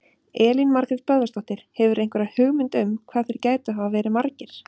Elín Margrét Böðvarsdóttir: Hefurðu einhverja hugmynd um hvað þeir gætu hafa verið margir?